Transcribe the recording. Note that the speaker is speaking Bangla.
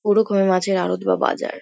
ওরকম মাছের আড়ৎ বা বাজার।